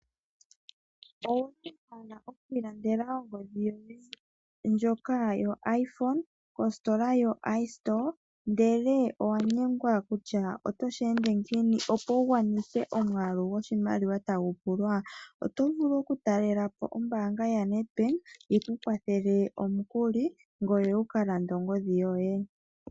Owuli wahala okwiilandela ongodhi yoye ndjoka yoiphone kositola yoistore ndele owa nyengwa kutya otoshi ende ngiini, opo wu gwanithe omwaalu goshimaliwa tagu pulwa? Oto vulu oku talela po ombaanga yaNedbank yiku kwathele omukili ngoye wuka lande ongodhi yoye.